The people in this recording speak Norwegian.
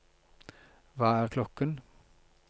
hva er klokken